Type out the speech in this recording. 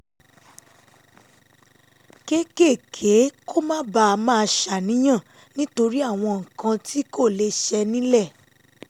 kéékèèké kó má bàa máa ṣàníyàn nítorí àwọn nǹkan tí kò lè ṣẹ ní’lẹ̀